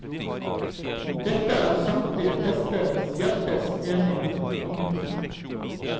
Dette er samtlige testere hjertens enige om. punktum